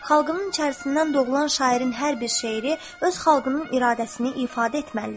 Xalqının içərisindən doğulan şairin hər bir şeiri öz xalqının iradəsini ifadə etməlidir.